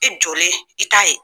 E jɔlen i t'a ye